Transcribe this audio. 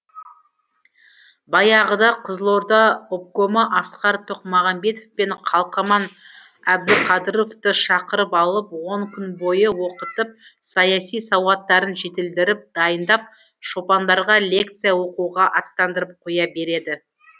баяғыда қызылорда обкомы асқар тоқмағамбетов пен қалмақан әбдіқадыровты шақырып алып он күн бойы оқытып саяси сауаттарын жетілдіріп дайындап шопандарға лекция оқуға аттандырып қоя береді